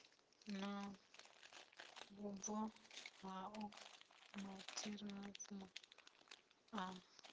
na vhubvo hao matheriaḽa a